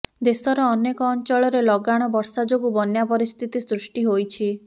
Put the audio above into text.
ଦେଶର ଅନେକ ଅଞ୍ଚଳରେ ଲଗାଣ ବର୍ଷା ଯୋଗୁଁ ବନ୍ୟା ପରିସ୍ଥିତି ସୃଷ୍ଟି ହୋଇଛି